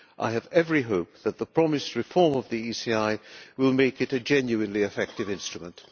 I have every hope that the promised reform of the ECI will make it a genuinely effective instrument.